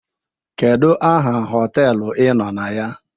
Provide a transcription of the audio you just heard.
Kedu aha họtelụ ị nọ na ya?